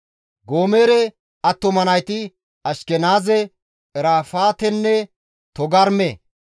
Goomere attuma nayti Ashkenaaze, Irafaatenne Togarma.